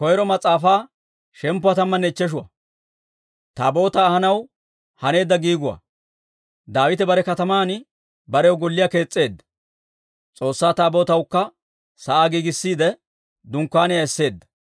Daawite bare kataman barew golliyaa kees's'eedda; S'oossaa Taabootawukka sa'aa giigissiide, dunkkaaniyaa esseedda.